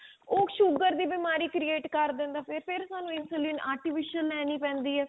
ਉਹ sugar ਦੀ ਬੀਮਾਰੀ create ਕਰ ਦਿੰਦਾ ਫੇਰ ਫਿਰ ਸਾਨੂੰ insulin artificial ਲੇਣੀ ਪੇਂਦੀ ਹੈ